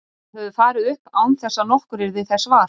Þeir höfðu farið upp án þess að nokkur yrði þess var.